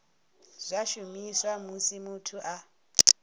zwa shumiswa musi muthu a